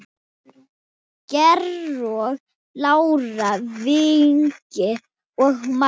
Georg, Lára, Vignir og makar.